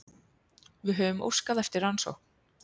Við höfum óskað eftir rannsókn